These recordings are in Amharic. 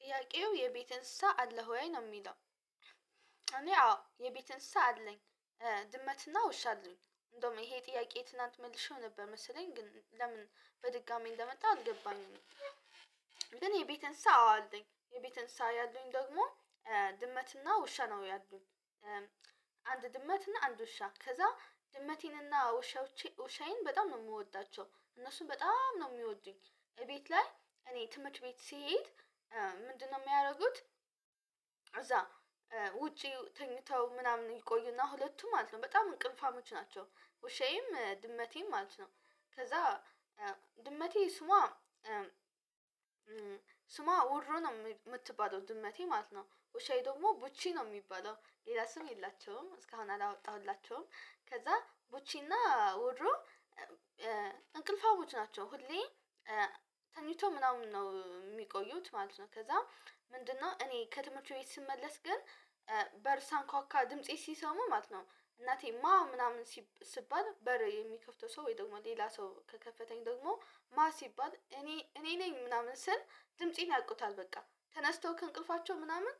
ጥያቄው የቤት እንስሳ አለ ወይ? ነው የሚለው። እኔ አዎ የቤት እንስሳ አለኝ። ድመትና ውሻ አለኝ። እንደውም ይሄ ጥያቄ ትላንት መልሼው ነበር መሰለኝ ግን ለምን በድጋሚ እንደመጣ አትገባኝም። ግን የቤት አዎ እንስሳ አለኝ። የቤት እንስሳ ያሉኝ ደግሞ ድመትና ውሻ ነው ያሉኝ። አንድ ድመትና አንድ ውሻ ከዛ ድመቴንና ውሻዎቼ፣ ውሻዬን በጣም ነው የምወዳቸው። እነሱን በጣም ነው የሚወዱኝ። እቤት ላይ እኔ ትምህርት ቤት ስሄድ ምንድነው የሚያደርጉት? እዛ ውጪ ተኝተው ምናምን ይቆዩና ሁለቱም ማለት ነው በጣም እንቅልፋሞች ናቸው። ውሻዬም፣ ድመቴም ማለት ነው። ከዛ ድመቴ ስሟ ስሟ ውሮ ነው የምትባለው ድመቴ ማለት ነው። ወሻዬ ደግሞ ቡቺ ነው የሚባለው፣ ሌላ ስም የላቸውም እስካሁን አላወጣሁላቸውም። ከዛ ቡቺና ውሮ እንቅልፋዊ ናቸው፣ ሁሌ ተኝቶ ምናምን ነው የሚቆዩት ማለት ነው። ከዛ ምንድነው እኔ ከትምህርት ቤት ስመለስ ግን በር ሳንኳካ ድምፄ ሲሰሙ ማለት ነው እናቴ ማን ምናምን ሲባል በረ የሚከፍተው ሰው ወይ ደግሞ ሌላ ሰው ከከፈተኝ ደግሞ ማ ሲባል እኔ፣ እኔ ነኝ ምናምን ስል ድምፄን ያውቁታል በቃ። ተነስተው ከእንቅልፋቸው ምናምን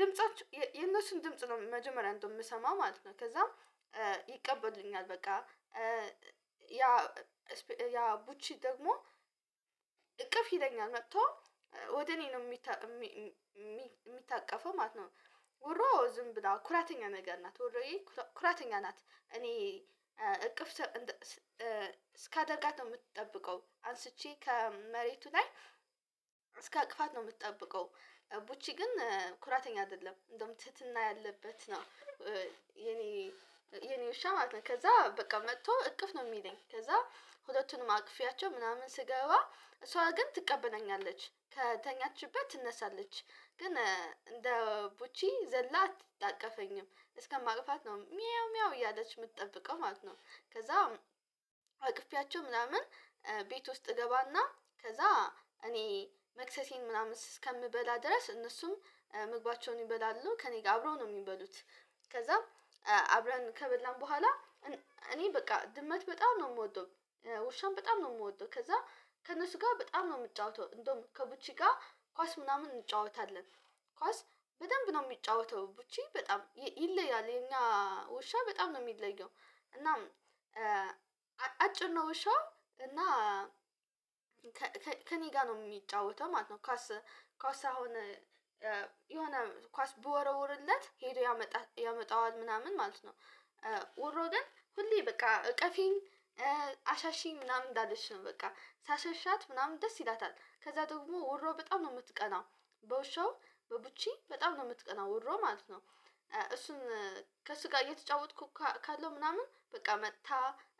ድምፃቸው የነሱን ድምጽ ነው መጀመሪያ እንደው የምሰማው ማለት ነው ከዛም ይቀበሉኛል በቃ። ያ ቡቺ ደግሞ እቅፍ ይለኛል መጥቶ ወደ እኔ ነው ሚ የሚታቀፈው ማለት ነው። ውሮ ዝም ብለው ኩራተኛ ነገር ናት ውሮዬ ኩራተኛ ናት። እኔ እቅፍ እስካደርጋት ነው የምትጠብቀው። አንስቼ ከመሬቱ ላይ እስካቅፋት ነው የምትጠብቀው። ቡቺ ግን ኩራተኛ አይደለም እንደውም ትህትና ያለበት ነው። የእኔ የኔ የኔ ውሻ ማለት ነው። ከዛ በቃ መጥቶ እቅፍ ነው የሚለኝ። ከዛ ሁለቱንም አቅፌያቸው ምናምን ስገባ እሷ ግን ትቀበለኛለች፣ ከተኛችበት ትነሳለች። ግን እንደ ቡቺ ዘላት አትታቀፈኝም፣ እስከማቅፋት ነው ሚያው ሚያው እያለች የምትጠብቀው ማለት ነው። ከዛ አቅፌያቸው ምናምን ቤት ውስጥ እገባና ከዛ እኔ መክሰሴን ምናምን እስከምበላ ድረስ እነሱም መግባቸውን ይበላሉ ከእኔ ጋር አብረው ነው የሚበሉት። ከዛ አብረን ከበላን በኋላ እኔ በቃ ድመት በጣም ነው የምወደው፣ ውሻም በጣም ነው የምወደው። ከዛ ከእነሱ ጋር በጣም ነው የምጫወተው። እንደውም ከቡቺ ጋር ኳስ ምናምን እንጫወታለን። ኳስ በደንብ ነው የሚጫወተው ቡቺ በጣም ይለያል የኛ ውሻ በጣም ነው የሚለየው። እና አጭር ነው ውሻ እና ከእኔ ጋር ነው የሚጫወተው ማለት ነው ኳስ፣ ኳስ አሁን የሆነ ኳስ በወረወርለት ሄዶ ያመጣል፣ ያመጣዋል ምናምን ማለት ነው። ውሮ ግን ሁሌ በቃ እቀፊኝ፣ አሻሽኝ ምናምን እንዳለች ነው በቃ። ሳሻሻት ምናምን ደስ ይላታል። ከዛ ደግሞ ውሮ በጣም ነው የምትቀናው። በውሻው በቡቺ በጣም ነው የምትቀናው ውሮ ማለት ነው። እሱን ከእሱጋ እየተጫወትኩ ካለው ምናምን በቃ መጥታ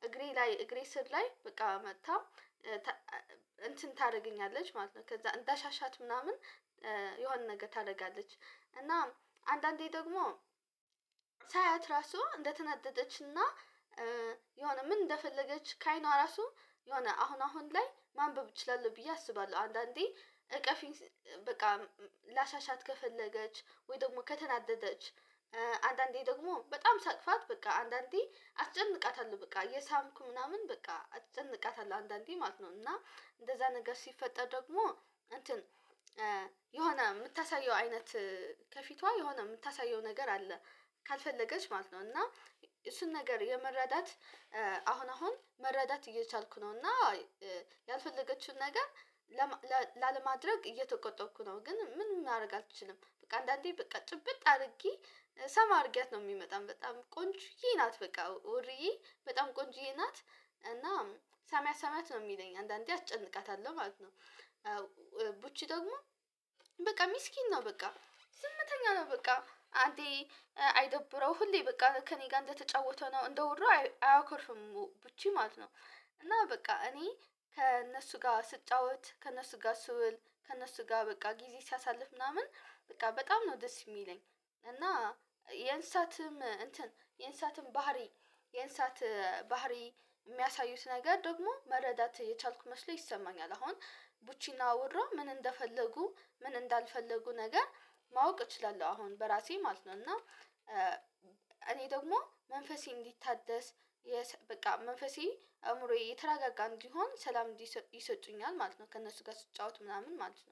እግሬ ላይ፣ እግሬ ስር ላይ በቃ መጥታ እንትን ታደርጊኛለች ማለት ነው። ከዛ እንዳሻሻት ምናምን የሆነ ነገር ታደርጋለች። እናም አንዳንዴ ደግሞ ሳያት ራሱ እንደተናደደችና የሆነ ምን እንደፈለገች ካአይኗ ራሱ የሆነ አሁን፣ አሁን ላይ ማንበብ እችላለሁ ብዬ አስባለሁ አንዳንዴ እቀፊኝ፣ በቃ ላሻሻት ከፈለገች፣ ወይ ደግሞ ከተናደደች አንዳንዴ ደግሞ በጣም ሳቅፋት በቃ አንዳንዴ አስጨንቃታለሁ በቃ እየሳምኩ ምናምን በቃ አጨንቃታለሁ አንዳንዴ ማለት ነው። እና እንደዛ ነገር ሲፈጠር ደግሞ እንትን የሆነ የምታሳየው አይነት ከፊቷ የሆነ የምታሳየው ነገር አለ። ካልፈለገች ማለት ነው እና እሱን ነገር የመረዳት አሁን አሁን መረዳት እየቻልኩ ነው እና ያልፈለገችውን ነገር ላለማድረግ እየተቆጠብኩ ነው ግን ምን ማድረግ አትችልም። በቃ አንዳንዴ በቃ ጭብጥ አድርጌ ሰማ አድርጌያት ነው የሚመጣም በጣም ቆንጆዬ ናት በቃ ውርዬ በጣም ቆንጆዬ ናት። እና ሳምያት፣ ሳምያት ነው። የሚለኝ አንዳንዴ አጨንቃታለሁ ማለት ነው። ቡቺ ደግሞ በቃ ሚስኪን ነው በቃ። ዝምተኛ ነው በቃ። አንዴ አይደብረው ሁሌ በቃ ከእኔ ጋር እንደተጫወተ ነው። እንደ ውሮ አያከርፍም ቡቺ ማለት ነው። እና በቃ እኔ ከእነሱ ጋር ስጫወት፣ ከእነሱ ጋር ስውል፣ ከእነሱ ጋር በቃ ጊዜ ሳሳልፍ ምናምን በቃ በጣም ነው ደስ የሚለኝ። እና የእንስሳትም እንትን፣ የእንስሳትም ባህሪ፣ የእንሳት ባህሪ የሚያሳዩት ነገር ደግሞ መረዳት የቻልኩ መስሎ ይሰማኛል። አሁን ቡቺና ውራ ምን እንደፈለጉ ምን እንዳልፈለጉ ነገር ማወቅ እችላለሁ አሁን በራሴ ማለት ነው። እና እኔ ደግሞ መንፈሴ እንዲታደስ በቃ መንፈሴ፣ አእምሮዬ የተረጋጋን እንዲሆን ሰላም እንዲስ፣ ይሰጡኛል ማለት ነው ከእነሱ ጋር ስትጫወት ምናምን ማለት ነው።